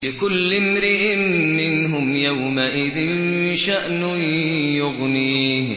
لِكُلِّ امْرِئٍ مِّنْهُمْ يَوْمَئِذٍ شَأْنٌ يُغْنِيهِ